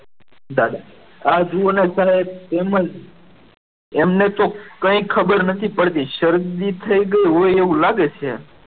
દાદા આ જુઓ ને સાહેબ તેમજ એમને તો કંઈ ખબર નથી પડતી શરદી થઈ ગઈ હોય એવું લાગે છે.